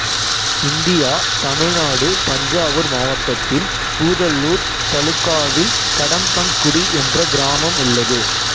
இந்தியாதமிழ்நாடு தஞ்சாவூர் மாவட்டத்தில் பூதலூர் தலுக்காவில் கடம்பங்குடி என்ற கிராமம் உள்ளது